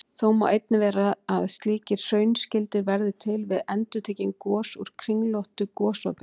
Þó má einnig vera að slíkir hraunskildir verði til við endurtekin gos úr kringlóttu gosopi.